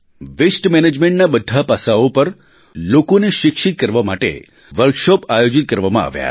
વસ્તે managementના બધાં પાસાંઓ પર લોકોને શિક્ષિત કરવા માટે વર્કશૉપ આયોજિત કરવામાં આવ્યા